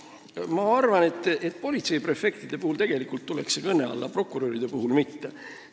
Aga ma arvan, et politseiprefektide puhul tuleks see tegelikult kõne alla, prokuröride puhul mitte.